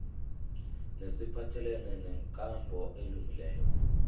neziphathelene nenkambo elungileyo